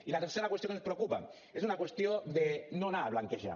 i la tercera qüestió que ens preocupa és una qüestió de no anar a blanquejar